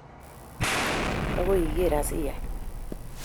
Agoi igeer asiyaan